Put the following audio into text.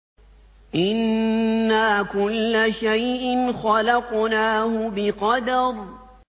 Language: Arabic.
إِنَّا كُلَّ شَيْءٍ خَلَقْنَاهُ بِقَدَرٍ